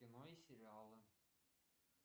кино и сериалы